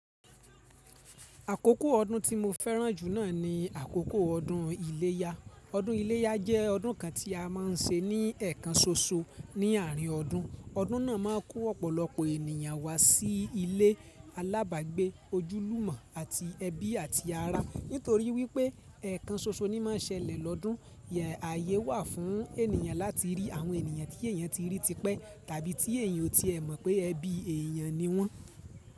Àkókò ọdún tí mo fẹ́ràn jù naa ni àkókò ọdún iléyá. Ọdún iléyá jẹ́ ọdún kan tí a má ń ṣe ní ẹ̀kan ṣoṣo ní àárín ọdún. Ọdún náà má ń kó ọ̀pọ̀lọpọ̀ ènìyàn wá sí ilé alábàgbé, ojúlùmọ̀ àti ẹbí àti ará. Nítorí wípé ẹ̀kan ṣoṣo ni má ń ṣẹlẹ̀ lọ́dún, ààyè wà fún ènìyàn láti rí àwọn ènìyàn tí èèyàn ti rí tipẹ́ tàbí tí èèyàn ò tí ẹ mọ̀ pé ẹbí èèyàn ni wọ́n.